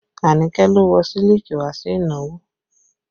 Anike lo wọ sílíkì wá sí ìnáwó